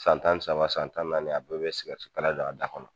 San tan saba san tan naani a bɛɛ bɛ kala don a da kɔnɔ